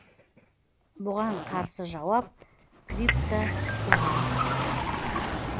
бұған қарсы жауап криптоқоғам